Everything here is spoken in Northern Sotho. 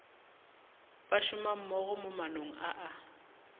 bašomammogo mo maanong a a